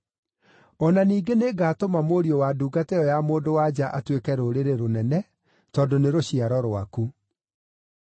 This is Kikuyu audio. O na ningĩ nĩngatũma mũriũ wa ndungata ĩyo ya mũndũ-wa-nja atuĩke rũrĩrĩ rũnene, tondũ nĩ rũciaro rwaku.”